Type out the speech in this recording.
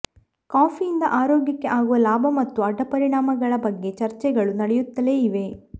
ಕಾಫಿಯಿಂದ ಆರೋಗ್ಯಕ್ಕೆ ಆಗುವ ಲಾಭ ಮತ್ತು ಅಡ್ಡಪರಿಣಾಮಗಳ ಬಗ್ಗೆ ಚರ್ಚೆಗಳು ನಡೆಯುತ್ತಲೇ ಇವೆ